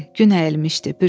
Gün əyilmişdi.